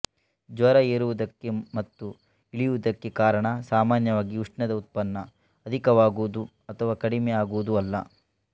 ಜ್ವರ ಏರುವುದಕ್ಕೆ ಮತ್ತು ಇಳಿಯುವುದಕ್ಕೆ ಕಾರಣ ಸಾಮಾನ್ಯವಾಗಿ ಉಷ್ಣದ ಉತ್ಪನ್ನ ಅಧಿಕವಾಗುವುದು ಅಥವಾ ಕಡಿಮೆ ಆಗುವುದು ಅಲ್ಲ